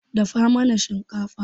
Dafa mana shinkafa.